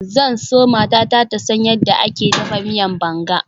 Zan so matata ta san yadda ake dafa miyan banga.